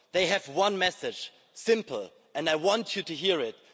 They have one message, it's simple, and I want you to hear it.